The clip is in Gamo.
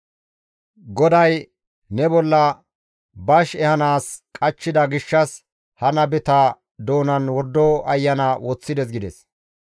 «GODAY ne bolla bash ehanaas qachchida gishshas ha nabeta doonan wordo ayana woththides» gides.